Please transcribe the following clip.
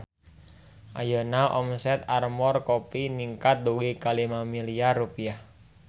Ayeuna omset Armor Kopi ningkat dugi ka 5 miliar rupiah